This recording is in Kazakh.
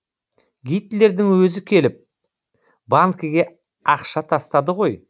гитлердің өзі келіп банкіге ақша тастады ғой